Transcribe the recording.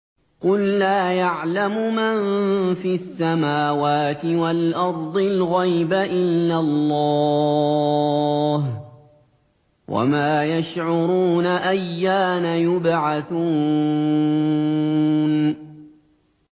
قُل لَّا يَعْلَمُ مَن فِي السَّمَاوَاتِ وَالْأَرْضِ الْغَيْبَ إِلَّا اللَّهُ ۚ وَمَا يَشْعُرُونَ أَيَّانَ يُبْعَثُونَ